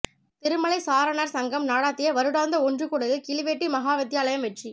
திருமலை சாரணர் சங்கம் நடாத்திய வருடாந்த ஒன்று கூடலில் கிளிவெட்டி மகாவித்தியாலம் வெற்றி